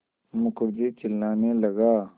मुखर्जी चिल्लाने लगा